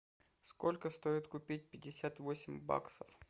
сколько стоит купить пятьдесят восемь баксов